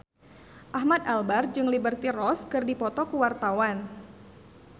Ahmad Albar jeung Liberty Ross keur dipoto ku wartawan